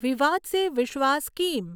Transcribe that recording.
વિવાદ સે વિશ્વાસ સ્કીમ